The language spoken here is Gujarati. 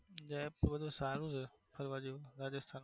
સારું છે ફરવા જેવું રાજસ્થાન.